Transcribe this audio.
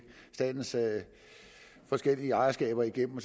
statens forskellige ejerskaber igennem